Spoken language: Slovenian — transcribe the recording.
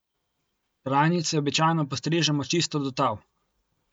Trajnice običajno postrižemo čisto do tal.